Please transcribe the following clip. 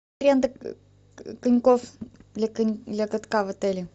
аренда коньков для катка в отеле